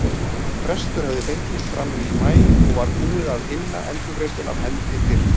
Frestur hafði fengist fram í maí og var búið að inna endurgreiðsluna af hendi fyrr.